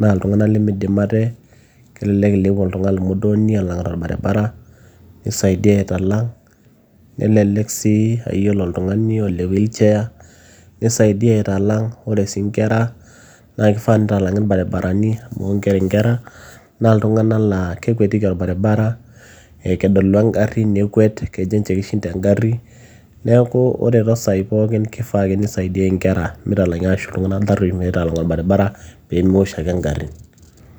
naa iltung'anak lemidim ate. Kelelek inepu oltung'ani modooni elangita orbaribarabara nisaidia atailang' nelelek sii aaiyilo oltung'ani ole wheelchair nisaidia atailang. Ore sii inkera naake ifaa neitalang'i irbarabarani amu inkera naa, iltunganak laa kekwetiki orbaribara ee kedolu engari nekwet, kejo ninje kishinda engari. Neeku, kore toosaai pookin kifaa ake nisaidiai inkera mitalangi arashu iltunganak tarruoish aitalang orbaribara peyie mewosh ake ingarin